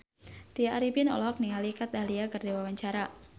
Tya Arifin olohok ningali Kat Dahlia keur diwawancara